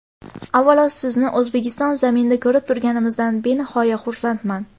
Avvalo, sizni O‘zbekiston zaminida ko‘rib turganimizdan benihoya xursandman.